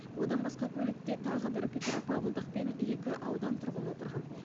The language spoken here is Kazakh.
одан басқа көлікте тағы бір петропавлдық пен екі аудан тұрғыны отырған